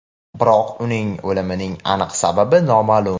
Biroq, uning o‘limining aniq sababi noma’lum.